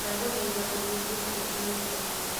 ndagũthaitha ũnyihie ũtheri nyũmbaini